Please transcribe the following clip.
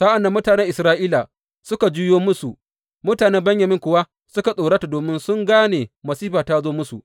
Sa’an nan mutanen Isra’ila suka juyo musu, mutanen Benyamin kuwa suka tsorata domin sun gane masifa ta zo musu.